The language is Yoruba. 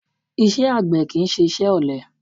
Iṣẹ́ àgbẹ̀ kì í ṣe iṣẹ́ ọ̀lẹ